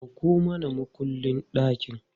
Dauko mana mukullin ɗakin!